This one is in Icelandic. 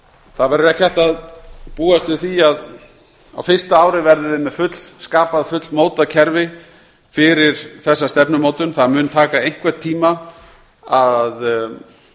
það verður ekki hægt að búast við því að á fyrsta ári verðum við með fullskapað og fullmótað kerfi fyrir þessa stefnumótun það mun taka einhvern tíma að